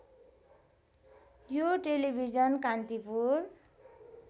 यो टेलिभिजन कान्तिपुर